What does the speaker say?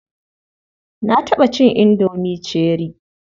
Na taɓa cin indomi cherie.